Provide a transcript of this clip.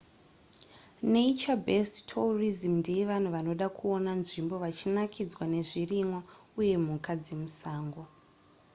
nature-based tourism ndeyevanhu vanoda kuona nzvimbo vachinakidzwa nezvirimwa uye mhuka dzemusango